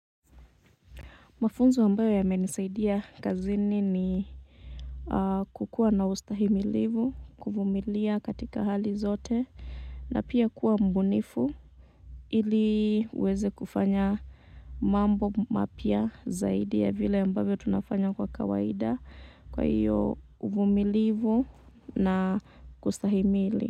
Mafunzo ambayo yamenisaidia kazini ni kukuwa na ustahimilivu, kuvumilia katika hali zote na pia kuwa mbunifu ili uweze kufanya mambo mapya zaidi ya vile ambavyo tunafanya kwa kawaida kwa hiyo uvumilivu na kustahimili.